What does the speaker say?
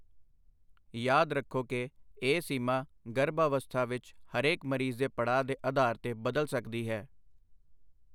ਯਾਦ ਰੱਖੋ ਕਿ, ਇਹ ਸੀਮਾ ਗਰਭ ਅਵਸਥਾ ਵਿੱਚ ਹਰੇਕ ਮਰੀਜ਼ ਦੇ ਪੜਾਅ ਦੇ ਅਧਾਰ ਤੇ ਬਦਲ ਸਕਦੀ ਹੈ।